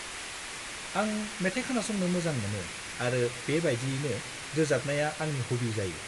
-आं मेथाइ खोनासंनो मोजां मोनो आरो बे बायदियैनो रोजाबनाया आंनि हबि जायो।